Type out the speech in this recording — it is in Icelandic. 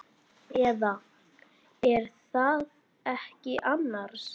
Eða. er það ekki annars?